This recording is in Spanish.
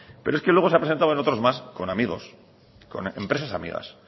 pero es que luego se ha presentado en otros más con amigos con empresas amigas